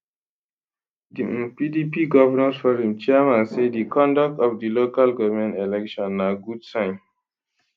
di um pdp govnors forum chairman say di conduct of di local goment elections na good sign